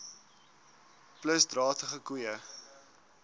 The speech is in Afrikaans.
plus dragtige koeie